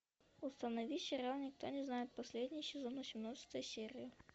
установи сериал никто не знает последний сезон восемнадцатая серия